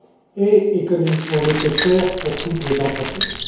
et économiquement nécessaire pour toutes les entreprises.